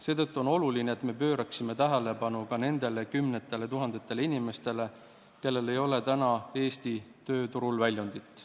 Seetõttu on oluline, et me pööraksime tähelepanu ka nendele kümnetele tuhandetele inimestele, kellel ei ole täna Eesti tööturul väljundit.